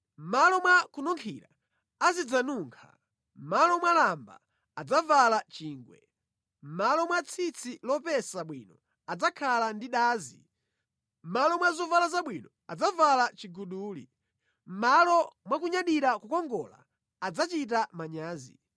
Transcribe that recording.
Mʼmalo mwa kununkhira azidzanunkha, mʼmalo mwa lamba, adzavala chingwe; mʼmalo mwa tsitsi lopesa bwino, adzakhala ndi dazi; mʼmalo mwa zovala zabwino, adzavala chiguduli; mʼmalo mwa kunyadira kukongola adzachita manyazi.